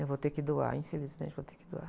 Eu vou ter que doar, infelizmente, vou ter que doar.